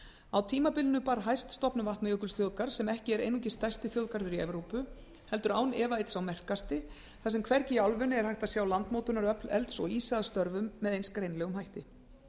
á tímabilinu bar hæst stofnun vatnajökulsþjóðgarðs sem er ekki einungis stærsti þjóðgarður evrópu heldur án efa einn sá merkasti þar sem hvergi í álfunni er hægt að sjá landmótunaröfl elds og ísa að störfum með eins greinilegum hætti